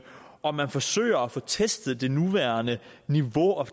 og man forsøger at få testet det nuværende niveau og